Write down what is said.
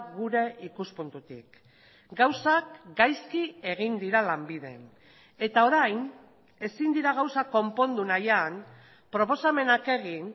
gure ikuspuntutik gauzak gaizki egin dira lanbiden eta orain ezin dira gauzak konpondu nahian proposamenak egin